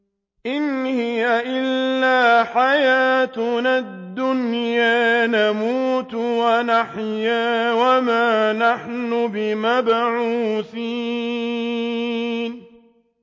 إِنْ هِيَ إِلَّا حَيَاتُنَا الدُّنْيَا نَمُوتُ وَنَحْيَا وَمَا نَحْنُ بِمَبْعُوثِينَ